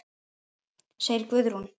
segir Guðrún.